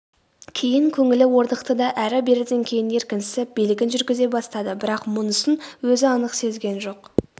кейін көңілі орнықты да әрі-беріден кейін еркінсіп билігін жүргізе бастады бірақ мұнысын өзі анық сезген жоқ